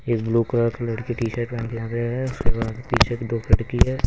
Blue colour की t shirt पहन है उसके बाद पीछे की है.